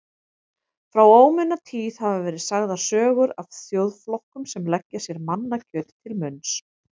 Frá ómunatíð hafa verið sagðar sögur af þjóðflokkum sem leggja sér mannakjöt til munns.